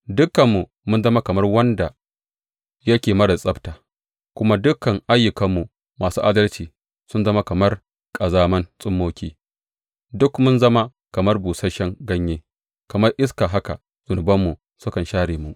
Dukanmu mun zama kamar wanda yake marar tsabta, kuma dukan ayyukanmu masu adalci sun zama kamar ƙazaman tsummoki; duk mun zama kamar busasshen ganye, kamar iska haka zunubanmu sukan share mu.